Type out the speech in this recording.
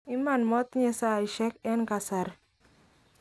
iman motinye saisiek en kasari